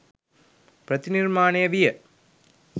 ප්‍රතිනිර්මාණය විය